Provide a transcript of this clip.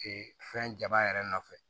fɛn jaba yɛrɛ nɔfɛ